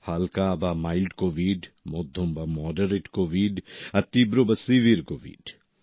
হালকা বা mild COVID মধ্যম বা মডারেট কোভিড আর তীব্র বা সেভেরে কোভিড